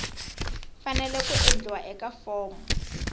fanele ku endliwa eka fomo